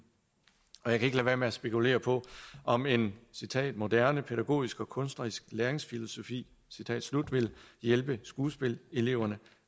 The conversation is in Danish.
jeg kan ikke lade være med at spekulere på om en moderne pædagogisk og kunstnerisk læringsfilosofi vil hjælpe skuespillereleverne